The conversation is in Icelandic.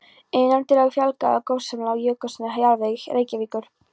Innandyra fjalagólf sem lá oná jökulsköfnum jarðvegi Reykjavíkur.